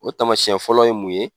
O tamasiyɛn fɔlɔ ye mun ye